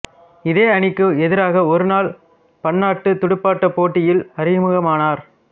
இதே அணிக்கு எதிராக ஒருநாள் பன்னாட்டுத் துடுப்பாட்டப் போட்டியில் அறிமுகமானார்